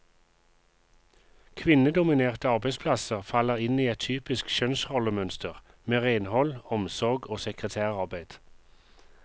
Kvinnedominerte arbeidsplasser faller inn i et typisk kjønnsrollemønster, med renhold, omsorg og sekretærarbeid.